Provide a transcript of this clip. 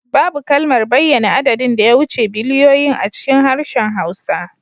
Babu kalmar bayyana adadin da ya wuce biliyoyin a cikin harshen Hausa